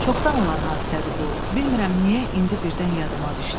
Çoxdan olan hadisədir bu, bilmirəm niyə indi birdən yadıma düşdü.